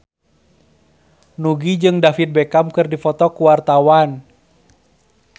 Nugie jeung David Beckham keur dipoto ku wartawan